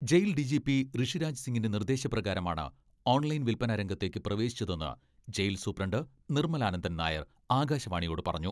Jail DGP Rishiraj സിങ്ങിന്റെ നിർദേശ പ്രകാരമാണ് ഓൺലൈൻ വിൽപന രംഗത്തേക്ക് പ്രവേശിച്ചതെന്ന് ജയിൽ സൂപ്രണ്ട് നിർമലാനന്ദൻ നായർ ആകാശവാണിയോട് പറഞ്ഞു.